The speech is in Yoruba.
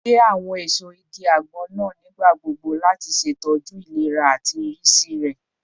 Ge awọn eso igi agbon naa nigbagbogbo lati ṣetọju ilera ati irisi rẹ